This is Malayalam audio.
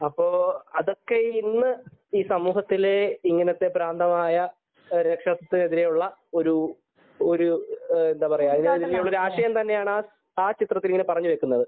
അപ്പൊ അതൊക്കെ ഇന്ന് സമൂഹത്തില് ഇങ്ങനത്തെ ഭ്രാന്തമായ രക്ഷാകര്തൃത്വത്തിനെതിരെയുള്ള ഒരു ഒരു രാഷ്ട്രീയം തന്നെയാണ് ആ ചിത്രത്തിൽ ഇങ്ങനെ പറഞ്ഞു വെക്കുന്നത്